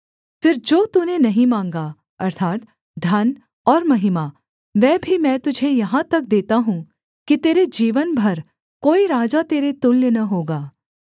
फिर जो तूने नहीं माँगा अर्थात् धन और महिमा वह भी मैं तुझे यहाँ तक देता हूँ कि तेरे जीवन भर कोई राजा तेरे तुल्य न होगा